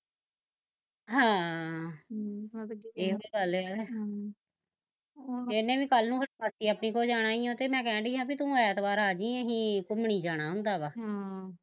ਹਾਂ ਹਮ ਏਹੋ ਈ ਗੱਲ ਐ ਹਮ ਇਹਨੇ ਵੀ ਕੱਲ ਨੂੰ ਫਿਰ ਮਾਸੀ ਆਪਣੀ ਕੋਲ ਜਾਣਾ ਈ ਓ ਤੇ ਮੈਂ ਕਹਿਣ ਡਈ ਸਾ ਵੀ ਤੂੰ ਐਤਵਾਰ ਆਜੀ ਅਸੀਂ ਘੁਮਣੀ ਜਾਣਾ ਹੁੰਦਾ ਵਾ ਹਮ